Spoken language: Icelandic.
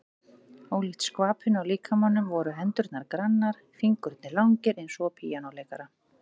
Ólíkt skvapinu á líkamanum voru hendurnar grannar, fingurnir langir eins og á píanóleikara.